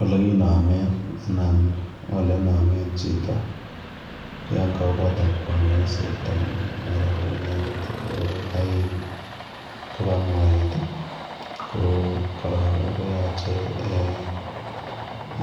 Ole kinameen anan ole name en chito yaan kawooh kotaab kanyaiset amuun mara inendet ko Kai kobaa moet ii ko korong koyache